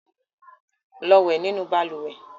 Lọ wẹ̀ nínú balùwẹ̀!